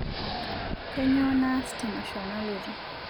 kainyoo naas te masho nalotu